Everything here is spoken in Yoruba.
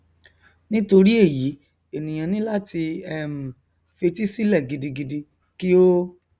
nítorí èyí ènìà ní láti um fetí sílẹ gidigidi kí ó